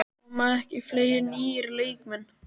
Koma ekki fleiri nýir leikmenn?